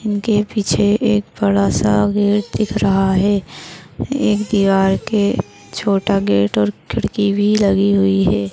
इनके पीछे एक बड़ा सा गेट दिख रहा है एक के छोटा गेट और खिड़की भी लगी हुई है।